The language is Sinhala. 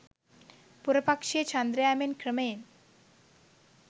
පුර පක්‍ෂයේ චන්ද්‍රයා මෙන් ක්‍රමයෙන්